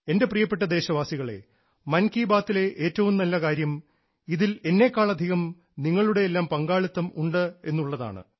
എൻറെ പ്രിയപ്പെട്ട ദേശവാസികളേ മൻ കി ബാത്തിലെ ഏറ്റവും നല്ല കാര്യം ഇതിൽ എന്നേക്കാളധികം നിങ്ങളുടെയെല്ലാം പങ്കാളിത്തം ഉണ്ടെന്നുള്ളതാണ്